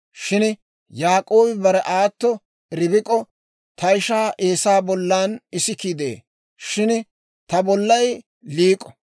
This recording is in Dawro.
Shin Yaak'oobi bare aatto Ribik'o, «Ta ishaa Eesaa bollan isikii de'ee; shin ta bollay liik'o.